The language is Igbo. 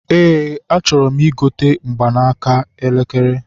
Eé, achọrọ m igote mgbaaka elekere.